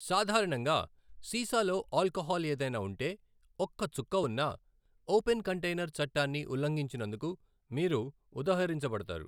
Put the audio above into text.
సాధారణంగా, సీసాలో ఆల్కహాల్ ఏదైనా ఉంటే, ఒక్క చుక్క ఉన్నా, ఓపెన్ కంటైనర్ చట్టాన్ని ఉల్లంఘించినందుకు మీరు ఉదహరించబడతారు.